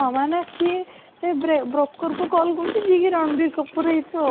ମାନେ ସିଏ ସେ ବ୍ରେ broker କୁ call କରୁଛି ଯିଏ କି ରଣବୀର କପୂର ହେଇ ଥିବ ଆଉ